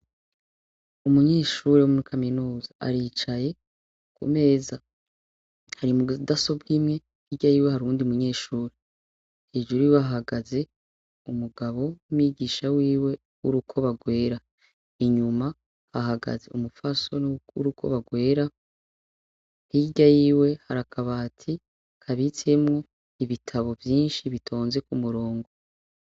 Umunyeshure wo muri kaminuza aricaye, ku meza hari mudasobwa imwe hirya yiwe hari uyundi munyeshure, hejuru yiwe hahagaze umugabo w'umwigisha wiwe w'urukoba rwera, inyuma hahagaze umupfasoni w'urukoba rwera hirya yiwe hari akabati kabitswemwo ibitabo vyinshi bitonze ku murongo.